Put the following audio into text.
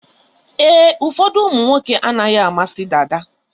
Ee, ụfọdụ ụmụnwoke anaghị amasị dada.